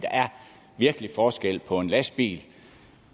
virkelig forskel på en lastbil